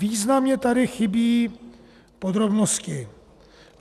Významně tady chybí podrobnosti.